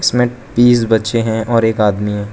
इसमें तीस बच्चे हैं और एक आदमी है।